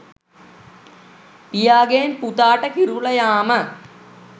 පියාගෙන් පුතාට කිරුල යාම